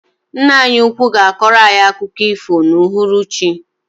Ńnà anyị úkwú ga akoro anyị akụkọ ifo na uhuruchi.